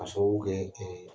Ka sababu kɛ